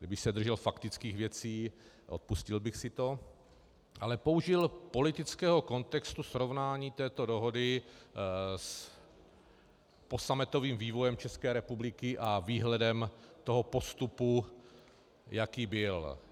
Kdyby se držel faktických věcí, odpustil bych si to, ale použil politického kontextu srovnání této dohody s posametovým vývojem České republiky a výhledem toho postupu, jaký byl.